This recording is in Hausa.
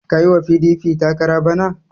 Ka yi wa PDP takara bana!